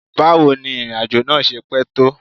How long is the journey?